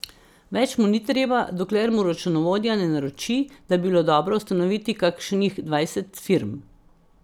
Več mu ni treba, dokler mu računovodja ne naroči, da bi bilo dobro ustanoviti kakšnih dvajset firm.